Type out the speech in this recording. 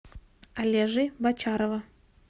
олежи бочарова